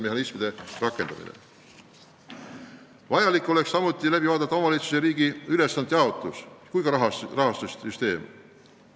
Vajalik oleks läbi vaadata omavalitsuste ja riigi ülesannete jaotus ja rahastussüsteem.